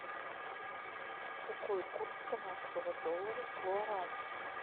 какой курс канадского доллара к гуарани